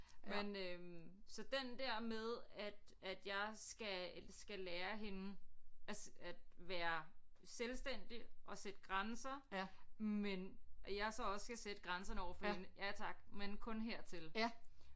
Men øh så den der med at at jeg skal skal lære hende at at være selvstændig og sætte grænser men at jeg så også skal sætte grænserne overfor hende ja tak men kun hertil